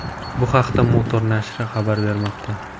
Bu haqda Motor nashri xabar bermoqda .